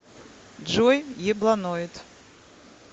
джой ебланоид